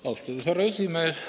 Austatud härra esimees!